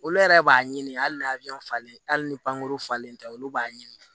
Olu yɛrɛ b'a ɲini hali n'a falen hali ni pankuru falen tɛ olu b'a ɲini